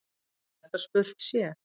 Eðlilegt að spurt sé.